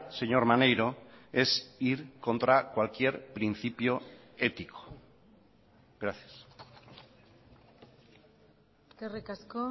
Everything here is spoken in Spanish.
señor maneiro es ir contra cualquier principio ético gracias eskerrik asko